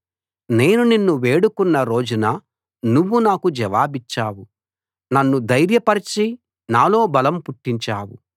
నేను నిన్ను వేడుకున్న రోజున నువ్వు నాకు జవాబిచ్చావు నన్ను ధైర్యపరచి నాలో బలం పుట్టించావు